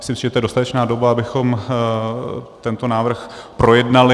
Myslím si, že to je dostatečná doba, abychom tento návrh projednali.